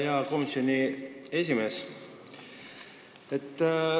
Hea komisjoni esimees!